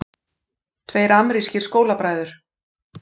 Tveir amerískir skólabræður